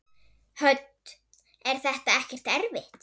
Hödd: Er þetta ekkert erfitt?